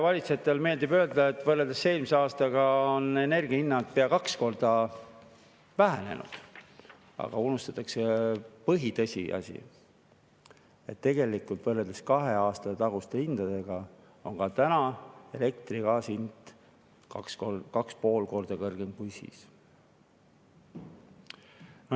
Valitsejatele meeldib öelda, et võrreldes eelmise aastaga on energia hinnad pea kaks korda madalamad, aga unustatakse põhiline tõsiasi, et tegelikult võrreldes kahe aasta taguste hindadega on ka täna elektri ja gaasi hind 2–2,5 korda kõrgem.